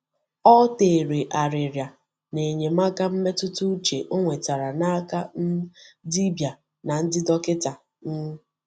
Ọ tèrè àrịrịa n’enyemaka mmetụta uche ọ nwetara n’aka um dibịa na ndị dọkịta. um